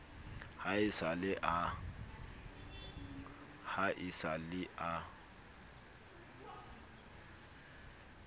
ha e sa le a